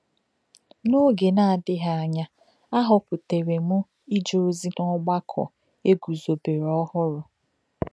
N’ógè na-adìghị ánya, a họ̀pùtèrè m ìje ozi n’ọgbàkọ e guzòbèrè ọhùrụ.